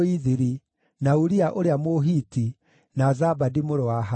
na Uria ũrĩa Mũhiti, na Zabadi mũrũ wa Ahalai,